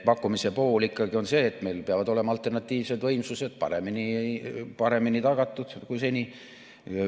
Pakkumise pool on ikkagi see, et meil peavad olema alternatiivsed võimsused paremini tagatud kui seni.